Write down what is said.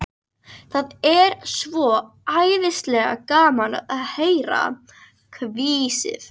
Það er svo æðislega gaman að heyra hvissið.